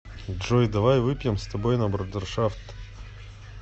джой давай выпьем с тобой на брудершафт